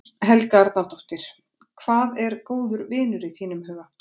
Helga Arnardóttir: Hvað er góður vinur í þínum huga?